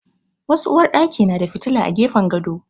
Wasu uwarɗaki na da fitila a gefen gado.